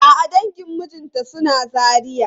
A'a dangin mijinta suna Zaria.